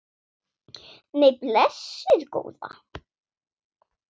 Nei, blessuð góða.